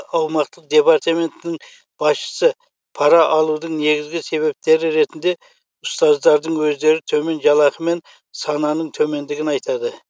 аумақтық департаментінің басшысы пара алудың негізгі себептері ретінде ұстаздардың өздері төмен жалақы мен сананың төмендігін айтады